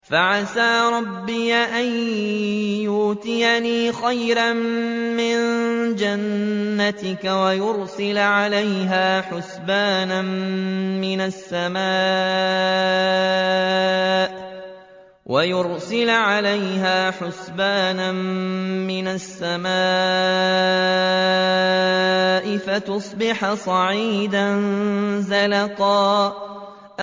فَعَسَىٰ رَبِّي أَن يُؤْتِيَنِ خَيْرًا مِّن جَنَّتِكَ وَيُرْسِلَ عَلَيْهَا حُسْبَانًا مِّنَ السَّمَاءِ فَتُصْبِحَ صَعِيدًا زَلَقًا